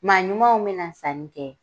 Maa ɲumanw bɛna sanni kɛ